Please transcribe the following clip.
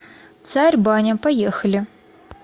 царь баня поехали